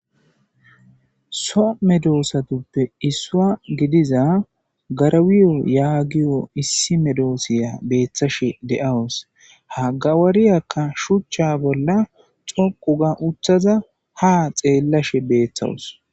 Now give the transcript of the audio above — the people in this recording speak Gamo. So medoosatuppe issua gidiza garawiyo yaagiyo issi medoosiya beeththashe de7awus ha gawariyakka shuchcha bolla xoqu ga uthaza ha xeellashe beeththawus.